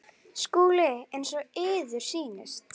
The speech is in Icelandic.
Signa sig?